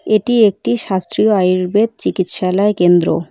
এটি একটি শাস্ত্রীয় আয়ুর্বেদ চিকিৎসালয় কেন্দ্র।